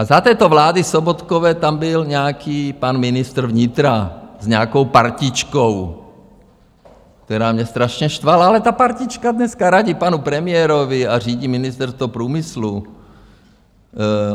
A za této vlády Sobotkovy tam byl nějaký pan ministr vnitra s nějakou partičkou, která mě strašně štvala, ale ta partička dneska radí panu premiérovi a řídí Ministerstvo průmyslu.